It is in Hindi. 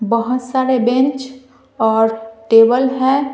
बहुत सारे बेंच और टेबल है।